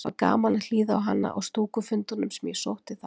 Það var gaman að hlýða á hana á stúkufundunum sem ég sótti þar.